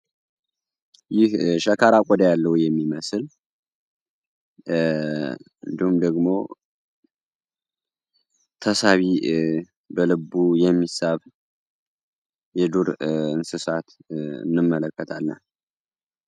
ይህ ሸካራ ቆዳ ያለው የሚመስል እንዲሁም ደግሞ ተሳቢ በልቡ የሚሳብ እንስሳት እንመለከትለን።